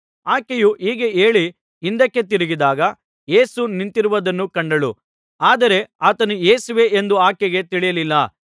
ಆಕೆಯು ಹೀಗೆ ಹೇಳಿ ಹಿಂದಕ್ಕೆ ತಿರುಗಿದಾಗ ಯೇಸು ನಿಂತಿರುವುದನ್ನು ಕಂಡಳು ಆದರೆ ಆತನು ಯೇಸುವೇ ಎಂದು ಆಕೆಗೆ ತಿಳಿಯಲಿಲ್ಲ